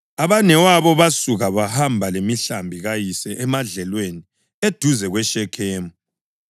Abanewabo basuka bahamba lemihlambi kayise emadlelweni eduze kweShekhemu.